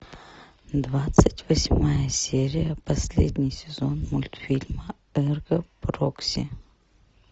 двадцать восьмая серия последний сезон мультфильма эрго прокси